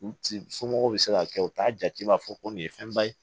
U somɔgɔw bɛ se ka kɛ u t'a jate b'a fɔ ko nin ye fɛnba ye